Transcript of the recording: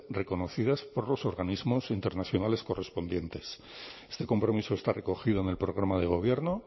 reconocidas por los organismos internacionales correspondientes este compromiso está recogido en el programa de gobierno